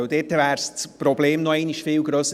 Sonst wäre das Problem noch viel grösser.